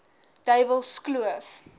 duiwelskloof